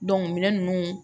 minɛn ninnu